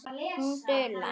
Hún dula.